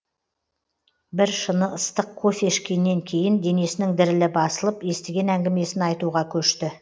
біршыны ыстық кофе ішкеннен кейін денесінің дірілі басылып естіген әңгімесін айтуға көшті